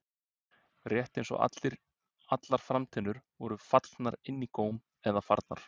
Rétt eins og allar framtennurnar væru fallnar inn í góm eða farnar.